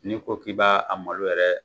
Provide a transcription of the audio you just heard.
Ni ko k'i b'a a malo yɛrɛ